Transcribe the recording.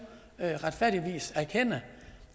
erkende